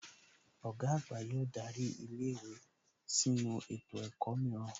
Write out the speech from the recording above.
Ọ̀gá àgbà yóò darí ilé ìwé sínu ètò ẹ̀kọ́ mìíràn